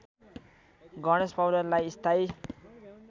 गणेश पौडेललाई स्थायी